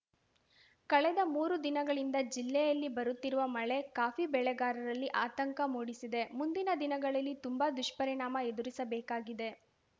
ಕಳೆದ ಮೂರು ದಿನಗಳಿಂದ ಜಿಲ್ಲೆಯಲ್ಲಿ ಬರುತ್ತಿರುವ ಮಳೆ ಕಾಫಿ ಬೆಳೆಗಾರರಲ್ಲಿ ಆತಂಕ ಮೂಡಿಸಿದೆ ಮುಂದಿನ ದಿನಗಳಲ್ಲಿ ತುಂಬಾ ದುಷ್ಪರಿಣಾಮ ಎದುರಿಸಬೇಕಾಗಿದೆ